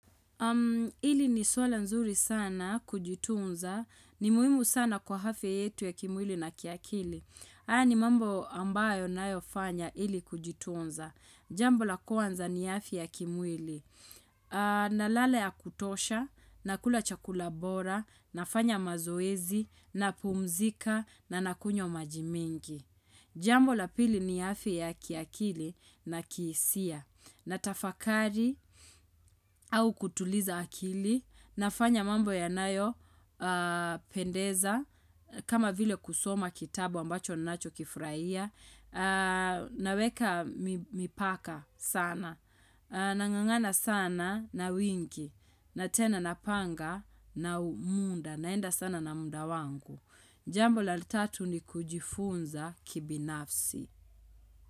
Hili ni swala nzuri sana kujitunza ni muhimu sana kwa afya yetu ya kimwili na kiakili. Haya ni mambo ambayo ninayofanya ili kujitunza. Jambo la kwanza ni afya ya kimwili. Nalala ya kutosha, nakula chakula bora, nafanya mazoezi, na pumzika, na nakunywa maji mingi. Jambo la pili ni afya ya kiakili na kihisia. Natafakari au kutuliza akili, nafanya mambo yanayo, pendeza, kama vile kusoma kitabu ambacho ninacho kifurahia, naweka mipaka sana, nangangana sana na wiki, na tena napanga na muda, naenda sana na muda wangu. Jambo la tatu ni kujifunza kibinafsi.